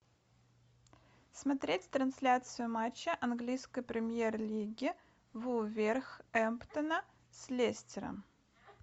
смотреть трансляцию матча английской премьер лиги вулверхэмптона с лестером